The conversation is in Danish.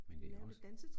Men det også